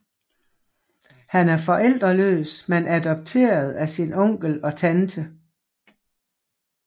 Han er forældreløs men adopteret af sin onkel og tante